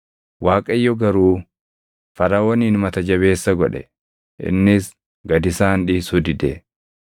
Waaqayyo garuu Faraʼoonin mata jabeessa godhe; innis gad isaan dhiisuu dide.